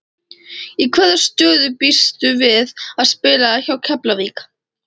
Í hvaða stöðu býstu við að spila hjá Keflavík?